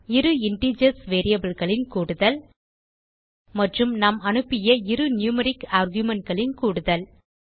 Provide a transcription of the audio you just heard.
இரு இன்டிஜர்ஸ் variableகளின் கூடுதல் மற்றும் நாம் அனுப்பிய இரு நியூமெரிக் argumentகளின் கூடுதல்